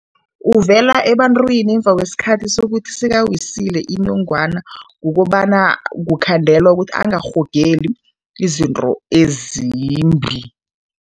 Uvela ebantwini ngemva kwesikhathi sokuthi sekawisile inongwana kukobana kukhandelwe ukuthi angarhogeli izinto ezimbi.